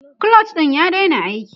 clutch ɗin ya daina aiki